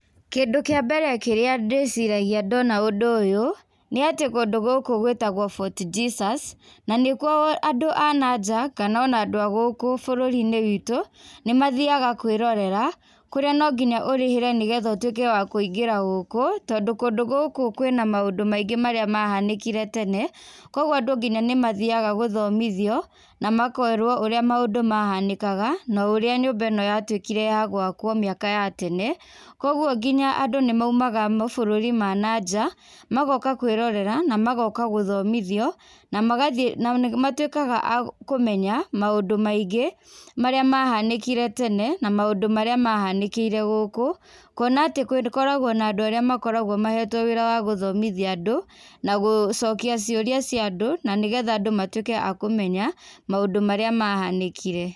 Kindũ kĩa mbere kĩrĩa ndĩciragia ndona ũndũ ũyũ, nĩatĩ kũndũ gũkũ gwĩtagwo Fort Jesus, na nĩkuo andũ a nanja, kana ona andũ a gũkũ bũrũrinĩ witũ, nĩmathiaga kwĩrorera, kũrĩa nonginya ũrĩhĩre nĩgetha ũtuĩke wa kũingĩra gũkũ, tondũ kũndũ gũkũ kwĩna maũndũ maingĩ marĩa mahanĩkire tene, koguo andũ nginya nĩmathiaga gũthomithio, na makerwo urĩa maũndũ mahanĩkaga, na ũrĩa nyũmba ĩno yatuĩkire ya gwakwo mĩaka ya tene, koguo nginya andũ nĩmaumaga mabũrũri mananja, magoka kwĩrorera, na magoka gũthomithio, na magathiĩ na nĩmatuĩkaga a kũmenya, maũndũ maingĩ, marĩa mahanĩkire tene, na maũndũ marĩa mahanĩkĩire gũkũ, kuona atĩ gũkoragwo na andũ arĩa makoragwo mahetwo wĩra wa gũthomithia andũ, na gũcokia ciũria ciandũ, na nĩgetha andũ matuĩke a kũmenya maũndũ marĩa mahanĩkire.